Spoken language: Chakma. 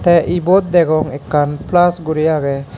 tey ebot degong ekkan puls guri agey.